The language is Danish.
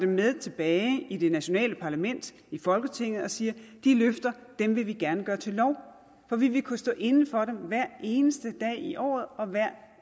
med tilbage i det nationale parlament i folketinget og siger de løfter vil vi gerne gøre til lov for vi vil kunne stå inde for dem hver eneste dag i året og hver